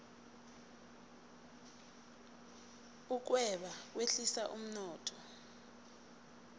ukweba kwehlisa umnotho